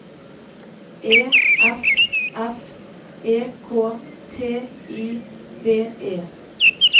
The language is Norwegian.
E F F E K T I V E